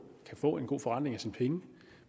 kan få en god forretning for sine penge